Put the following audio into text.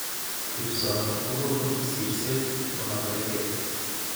Ribsoni ko konu sirset ne magergee.